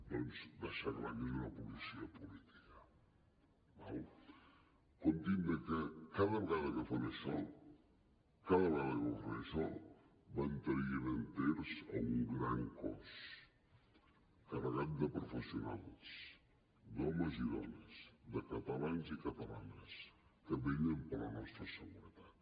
deixar clar que és una policia política d’acord comptin que cada vegada que fan això van traient enters a un gran cos carregat de professionals d’homes i dones de catalans i catalanes que vetllen per la nostra seguretat